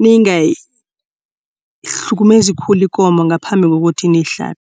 ningayihlukumezi khulu ikomo ngaphambi kokuthi niyihlabe.